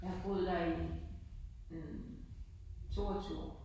Jeg har boet der i hm 22 år